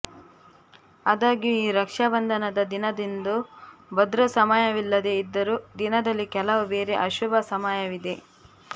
ಅದಾಗ್ಯೂ ಈ ರಕ್ಷಾ ಬಂಧನದ ದಿನದಂದು ಭದ್ರಾ ಸಮಯವಿಲ್ಲದೆ ಇದ್ದರೂ ದಿನದಲ್ಲಿ ಕೆಲವು ಬೇರೆ ಅಶುಭ ಸಮಯವಿದೆ